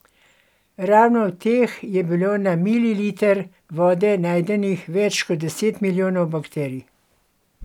Ravno v teh je bilo na mililiter vode najdenih več kot deset milijonov bakterij.